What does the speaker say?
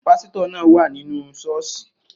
Pásítọ̀ náà wà ní inú Sọ́ọ̀sì